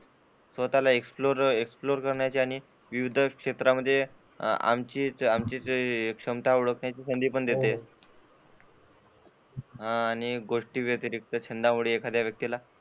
स्वतःला एक्सप्लोर करण्याची आणि विविध क्षेत्रामध्ये आमची क्षमता ओळखण्याची संधी पण देते हा आणि या गोष्टी व्यतिरिक्त छंदामुळे एखाद्या व्यक्ती ला,